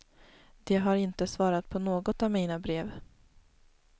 De har inte svarat på något av mina brev.